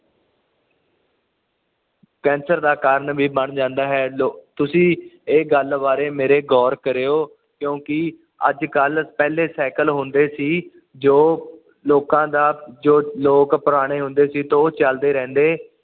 cancer ਦਾ ਕਾਰਨ ਵੀ ਬਣ ਜਾਂਦਾ ਹੈ ਲੋ ਤੁਸੀਂ ਇਹ ਗੱਲ ਬਾਰੇ ਮੇਰੇ ਗੋਰ ਕਰਿਓ ਕਿਉਂਕਿ ਅੱਜ ਕੱਲ ਪਹਿਲੇ ਸਾਈਕਲ ਹੁੰਦੇ ਸੀ ਜੋ ਲੋਕਾਂ ਦਾ ਜੋ ਲੋਕ ਪੁਰਾਣੇ ਹੁੰਦੇ ਸੀ ਤੇ ਉਹ ਚੱਲਦੇ ਰਹਿੰਦੇ